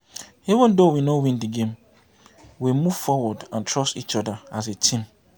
Even though we no win the game we move forward and trust each other as a team